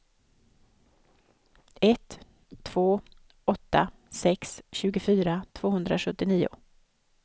ett två åtta sex tjugofyra tvåhundrasjuttionio